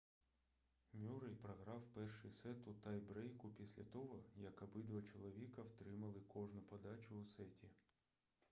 мюррей програв перший сет у тай-брейку після того як обидва чоловіка втримали кожну подачу у сеті